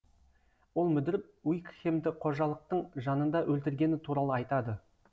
ол мүдіріп уикхемді қожалықтың жанында өлтіргені туралы айтады